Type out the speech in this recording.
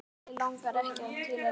Eyjólfur Mig langaði ekki til að lifa.